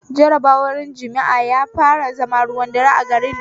Jarabar yin jimi'a ya fara zama ruwan dare a garin nan